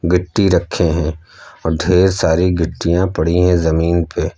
गिट्टी रखे हैं और ढेर सारी गिट्टियां पड़ी हैं जमीन पे।